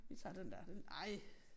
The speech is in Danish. Vi tager den der den ej